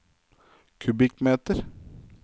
kubikkmeter